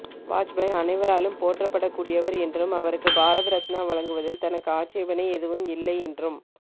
வாஜ்பாய் அனைவராலும் போற்றப்படக்கூடியவர் என்றும் அவருக்கு பாரதரத்னா வழங்குவதில் தனக்கு ஆட்சேபனை எதுவும் இல்லை என்றும்